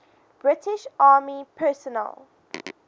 british army personnel